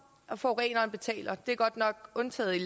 at forureneren betaler er godt nok undtaget